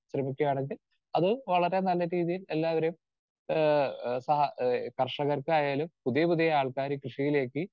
speaker 2 ശ്രമിക്കുകയാണെങ്കിൽ അത് വളരെ നല്ല രീതിയിൽ എല്ലാവരെയും ഏഹ് ആഹ് സഹാ ആഹ് കർഷകർക്കായാലും പുതിയ പുതിയ ആൾക്കാര് കൃഷിയിലേക്ക്